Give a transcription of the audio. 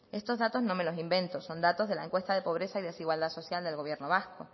estos datos no me los invento son datos de la encuesta de pobreza y desigualdad social del gobierno vasco